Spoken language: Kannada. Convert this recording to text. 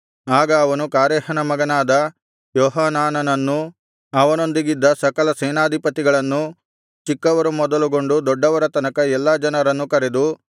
ಆಗ ಅವನು ಕಾರೇಹನ ಮಗನಾದ ಯೋಹಾನಾನನನ್ನೂ ಅವನೊಂದಿಗಿದ್ದ ಸಕಲ ಸೇನಾಧಿಪತಿಗಳನ್ನೂ ಚಿಕ್ಕವರು ಮೊದಲುಗೊಂಡು ದೊಡ್ಡವರ ತನಕ ಎಲ್ಲಾ ಜನರನ್ನೂ ಕರೆದು